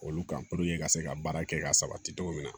Olu kan puruke ka se ka baara kɛ ka sabati cogo min na